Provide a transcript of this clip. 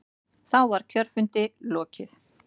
Þá var kjörfundi lokið.